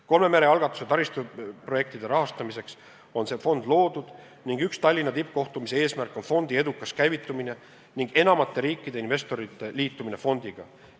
Kolme mere algatuse taristuprojektide rahastamiseks on see fond loodud ning üks Tallinna tippkohtumise eesmärk on fondi edukas käivitumine ning enamate riikide ja investorite liitumine fondiga.